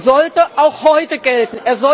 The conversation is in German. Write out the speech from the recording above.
sollte auch heute gelten.